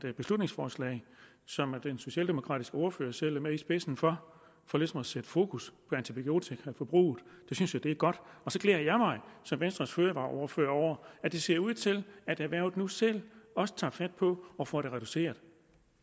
et beslutningsforslag som den socialdemokratiske ordfører selv er med i spidsen for for ligesom at sætte fokus på antibiotikaforbruget det synes jeg er godt og så glæder jeg mig som venstres fødevareordfører over at det ser ud til at erhvervet nu selv også tager fat på at få det reduceret